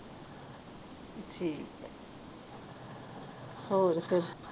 ਠੀਕ ਹੈ ਹੋਰ ਫਿਰ।